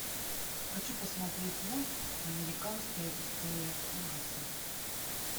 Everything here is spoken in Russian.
хочу посмотреть мульт американская история ужасов